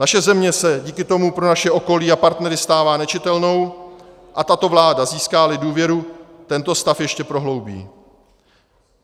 Naše země se díky tomu pro naše okolí a partnery stává nečitelnou a tato vláda, získá-li důvěru, tento stav ještě prohloubí.